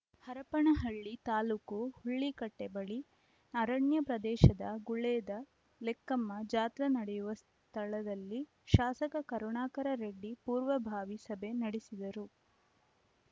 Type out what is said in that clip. ಹರಪನಹಳ್ಳಿ ತಾಲ್ಲೂಕು ಹುಲ್ಲಿಕಟ್ಟಿಬಳಿ ಅರಣ್ಯ ಪ್ರದೇಶದ ಗುಳೇದ ಲೆಕ್ಕಮ್ಮ ಜಾತ್ರಾ ನಡೆಯುವ ಸ್ಥಳದಲ್ಲಿ ಶಾಸಕ ಕರುಣಾಕರರೆಡ್ಡಿ ಪೂರ್ವ ಭಾವಿ ಸಭೆ ನಡೆಸಿದರು